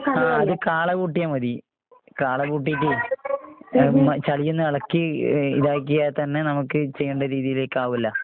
ആഹ് അത് കാളകൂട്ടിയാ മതി. കാള കൂട്ടീട്ടേ എമ് ചളിയൊന്നെളക്കി ഏഹ് ഇതാക്കിയാ തന്നെ നമക്ക് ചെയ്യണ്ട രീതീലേക്കാവൂല്ലോ?